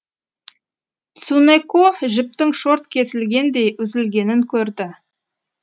цунэко жіптің шорт кесілгендей үзілгенін көрді